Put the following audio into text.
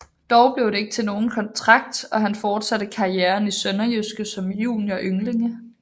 Dog blev det ikke til nogen kontrakt og han forsatte karrieren i SønderjyskE som junior og ynglinge